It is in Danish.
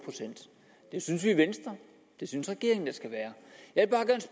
en synes vi i venstre og det synes regeringen der skal være